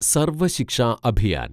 Sarva Shiksha Abhiyan